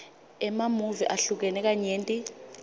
emamuvi ahlukene kanyenti